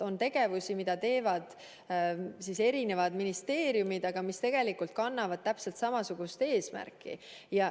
On tegevusi, mida teevad eri ministeeriumid, aga mis tegelikult kannavad täpselt samasugust eesmärki.